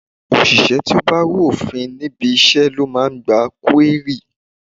Òṣìṣẹ́ ti ó bá rú òfin níbi iṣẹ́ ló máa ń gba kúérì.